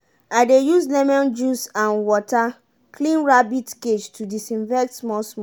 i dey use lemon juice and water clean rabbit cage to disinfect small small.